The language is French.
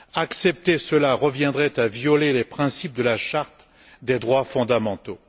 Accepter cela reviendrait à violer les principes de la Charte des droits fondamentaux.